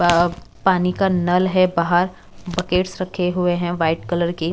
अ बाहर पानी का नल है बाहर बकेट्स रखे हुए हैं व्हाइट कलर के।